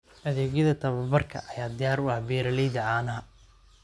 Adeegyada tababarka ayaa diyaar u ah beeralayda caanaha.